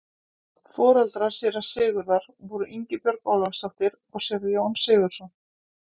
foreldrar séra sigurðar voru ingibjörg ólafsdóttir og séra jón sigurðsson